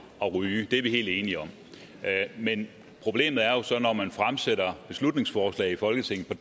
ryge det er vi helt enige om men problemet er jo så at når man fremsætter beslutningsforslag i folketinget